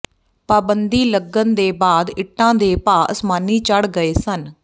ਪਾਬੰਦੀ ਲੱਗਣ ਦੇ ਬਾਅਦ ਇੱਟਾਂ ਦੇ ਭਾਅ ਅਸਮਾਨੀ ਚੜ੍ਹ ਗਏ ਸਨ